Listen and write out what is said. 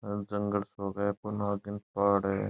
जंगल सोक है पुन आगिन पहाड़ है।